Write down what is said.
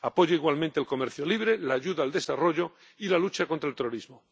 Apoya, igualmente, el comercio libre, la ayuda al desarrollo y la lucha contra el terrorismo.